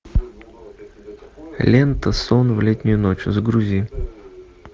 лента сон в летнюю ночь загрузи